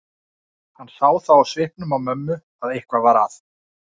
Hann sá það á svipnum á mömmu að eitthvað var að.